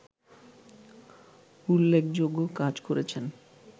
উল্লেখযোগ্য কাজ করেছেন